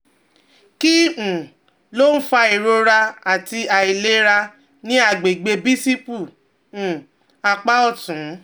Kí um ló ń fa ìrora àti àìlera ní àgbègbè bícípù um apá ọ̀tún?